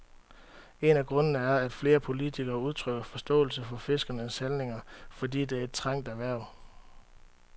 En af grundene er, at flere politikere udtrykker forståelse for fiskernes handlinger, fordi det er et trængt erhverv.